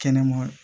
Kɛnɛma